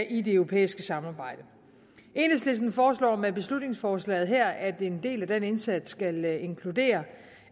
i det europæiske samarbejde enhedslisten foreslår med beslutningsforslaget her at en del af den indsats skal inkludere